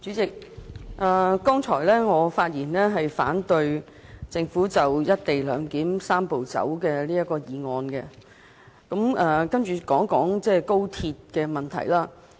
代理主席，我剛才發言是反對政府就"一地兩檢"的"三步走"方案提出的議案，現在想說高鐵的問題。